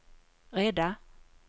rädda